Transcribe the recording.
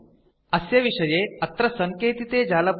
अस्य विषये httpspoken tutorialorgNMEICT Intro इति जालपुटे अधिकविवरणम् उपलभ्यम् अस्ति